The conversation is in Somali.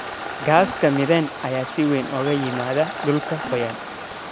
Gaaska methane ayaa si weyn uga yimaada dhulka qoyan.